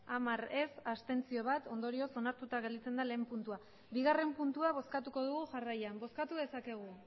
hamar abstentzioak bat ondorioz onartuta gelditzen da lehen puntua bigarren puntua bozkatuko dugu jarraian bozkatu dezakegu